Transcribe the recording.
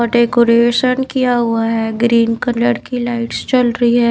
ओ decoration किया हुआ है ग्रीन कलर की लाइट्स जल रही है।